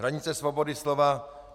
Hranice svobody slova.